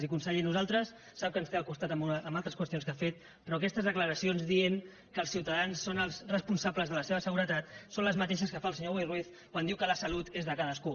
i conseller nosaltres sap ens té el costat amb altres qüestions que ha fet però aquestes declaracions que diuen que els ciutadans són els responsables de la seva seguretat són les mateixes que fa el senyor boi ruiz quan diu que la salut és de cadascú